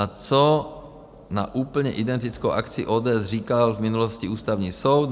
A co na úplně identickou akci ODS říkal v minulosti Ústavní soud?